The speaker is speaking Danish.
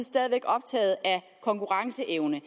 stadig væk optaget af konkurrenceevne